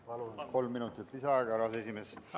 Palun kolm minutit lisaaega, härra aseesimees!